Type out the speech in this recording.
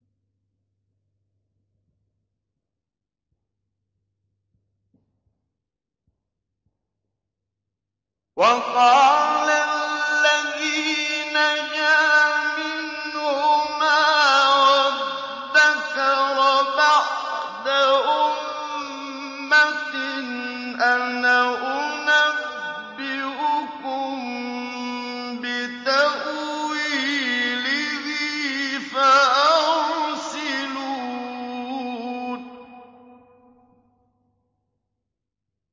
وَقَالَ الَّذِي نَجَا مِنْهُمَا وَادَّكَرَ بَعْدَ أُمَّةٍ أَنَا أُنَبِّئُكُم بِتَأْوِيلِهِ فَأَرْسِلُونِ